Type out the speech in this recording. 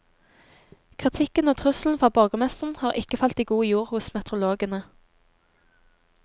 Kritikken og trusselen fra borgermesteren har ikke falt i god jord hos meteorologene.